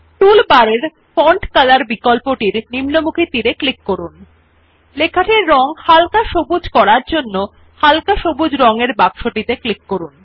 toolbar এর font colour বিকল্পটির নিম্নমুখী তীর এ ক্লিক করুন এবং লেখাটির রঙ হালকা সবুজ করার জন্য হালকা সবুজ রং এর বাক্সটিতে ক্লিক করুন